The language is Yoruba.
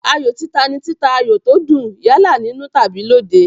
Ayò títa ni títa ayò tó dùn, yálà nínú tàbí lóde.